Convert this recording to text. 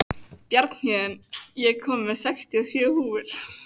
Bjarnhéðinn, ég kom með sextíu og sjö húfur!